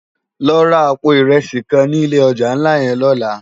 Lò rá àpó irèsi kán ni ilé òjá nlá yèn lòlá